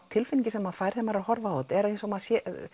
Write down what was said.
tilfinningin sem maður fær þegar maður er að horfa á þetta er eins og maður